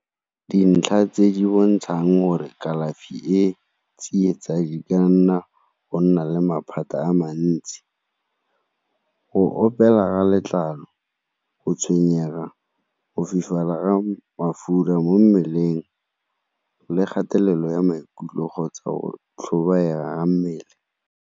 Dintlha tse di bontshang gore kalafi e tsietsa di ka nna go nna le maphata a mantsi, go opela letlalo, go tshwenyega, go fitlhelela ga mafura mo mmeleng le kgatelelo ya maikutlo kgotsa go tlhobaela ga mmele.